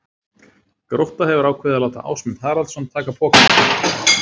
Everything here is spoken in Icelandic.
Grótta hefur ákveðið að láta Ásmund Haraldsson taka pokann sinn.